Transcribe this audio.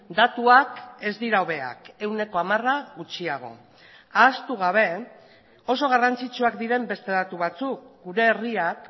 datuak ez dira hobeak ehuneko hamara gutxiago ahaztu gabe oso garrantzitsuak diren beste datu batzuk gure herriak